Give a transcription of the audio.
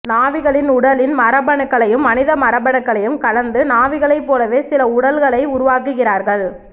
நாவிகளின் உடலின் மரபணுக்களையும் மனித மரபணுக்களையும் கலந்து நாவிகளை போலவே சில உடல்களை உருவாக்குகிறார்கள்